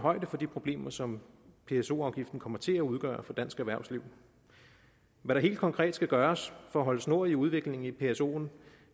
højde for de problemer som pso afgiften kommer til at udgøre for dansk erhvervsliv hvad der helt konkret skal gøres for at holde snor i udviklingen i psoen